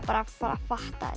að fatta